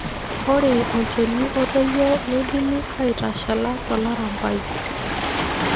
Ore olchoni otoyio neidimi aitashala tolarambai.